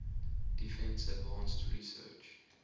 defense advanced research